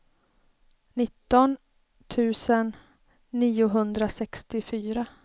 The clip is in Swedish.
nitton tusen niohundrasextiofyra